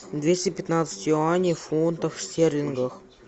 двести пятнадцать юаней в фунтах стерлингах